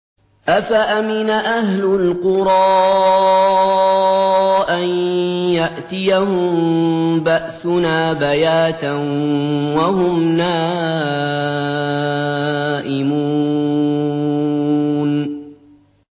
أَفَأَمِنَ أَهْلُ الْقُرَىٰ أَن يَأْتِيَهُم بَأْسُنَا بَيَاتًا وَهُمْ نَائِمُونَ